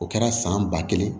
O kɛra san ba kelen